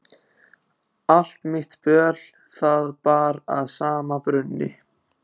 Allt mitt böl það bar að sama brunni.